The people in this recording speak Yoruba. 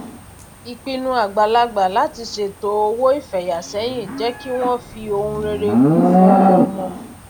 ìpinnu àgbàlagbà láti ṣètò owó ifeyà sẹyìn jé kí wọn fi ohun rere kù fún ọmọọmọ